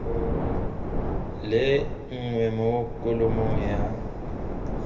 le nngwe mo kholomong ya